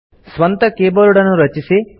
ಸ್ವಂತ ಕೀಬೋರ್ಡನ್ನು ರಚಿಸಿ